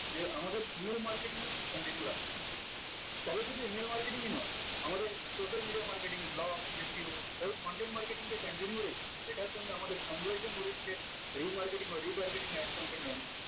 যে আমাদের email marketing continue রাখতে হবে তবে শুধু email marketing ই নয় আমাদের social media marketing lawSDO এই content marketing এর conservant এটার সঙ্গে আমাদের conversation boring কে remarketing or retargeting ad campaign branch